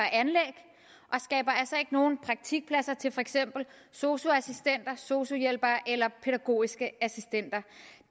skaber altså ikke nogen praktikpladser til for eksempel sosu assistenter sosu hjælpere eller pædagogiske assistenter